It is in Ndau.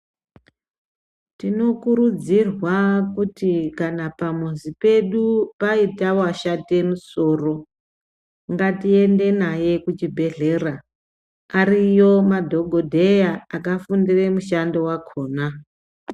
Tinokurudzirwa kuti kana pamuzi pedu paita washate musoro, ngatiende naye kuchibhedhlera. Ariyo madhogodheya akafundira mushando wakona.